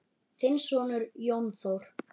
Þinn sonur, Jón Þór.